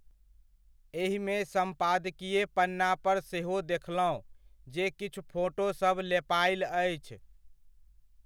ऐहिमे सम्पादकीय पन्नापर सेहो देखलहुॅं जे किछु फोटो सब लेपायल अछि।